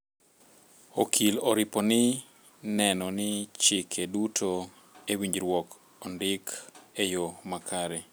okil oripo ni neno ni chike duto e winjruok ondik e yo makare